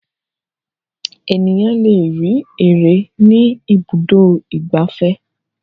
Ènìyàn le rí ère ní Ibùdó-ìgbafẹ́.